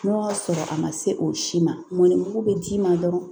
N'o y'a sɔrɔ a ma se o si ma mɔnni mugu be d'i ma dɔrɔn